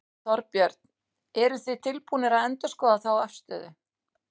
Þorbjörn: Eruð þið tilbúnir að endurskoða þá afstöðu?